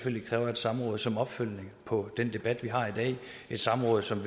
kræver et samråd som opfølgning på den debat vi har i dag et samråd som